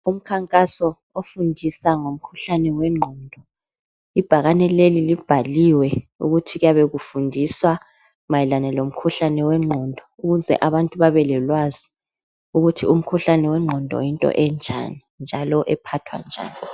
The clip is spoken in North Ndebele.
Umkhankaso ofundisa ngomkhuhlane wengqondo, ibhakane leli libhaliwe ukuthi kuyabe kufundiswa mayelana lomkhuhlane wengqondo ukuze abantu babe lolwazi ukuthi umkhuhlane wengqondo yinto enjani njalo ephathwa njani.